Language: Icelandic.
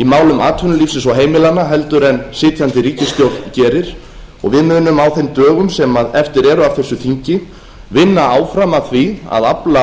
í málum atvinnulífsins og heimilanna en sitjandi ríkisstjórn gerir og við munum á þeim dögum sem eftir eru af þessu þingi vinna áfram að því að afla